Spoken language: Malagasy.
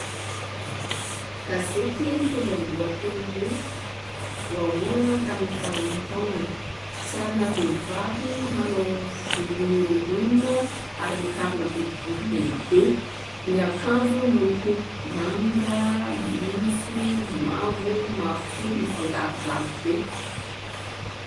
Gazety mitondra ny lohateny hoe : Voaolana tamin'ny fahaenina taonany. Sarina vehivavy manao volo mihorongorona ary mikavina boribory lehibe, miakanjo miloko manga, maitso, mavo, mavokely mifangarongaro be.